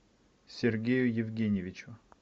сергею евгеньевичу